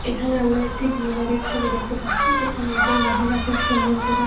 এখানে আমরা একটি বিয়ে বাড়ির ছবি দেখতে পাচ্ছি। যেখানে একজন মহিলা খুব সুন্দর করে --